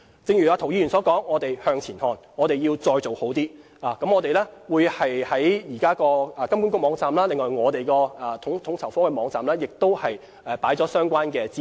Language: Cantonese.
正如涂議員所說，我們向前看，我們要再做好一些，我們已在金管局網站和統籌科網站提供相關資料。